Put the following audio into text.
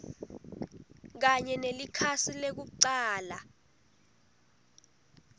kanye nelikhasi lekucala